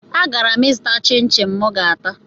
Agara m ịzụta chịn chịn mụ ga-ata